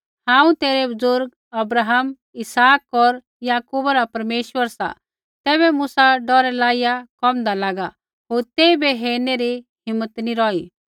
हांऊँ तेरै बुज़ुर्ग अब्राहम इसहाक होर याकूबा रा परमेश्वर सा तैबै मूसा डौरै लाईया कोमदा लागा होर तेइबै हेरनै री हिम्मत नी रौही